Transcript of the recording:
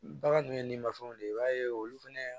Bagan dun ye ni mafɛnw de ye i b'a ye olu fɛnɛ